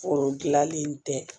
Foro dilanlen tɛ